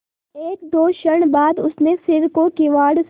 एकदो क्षण बाद उसने सिर को किवाड़ से